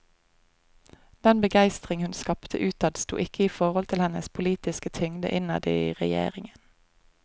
Den begeistring hun skapte utad sto ikke i forhold til hennes politiske tyngde innad i regjeringen.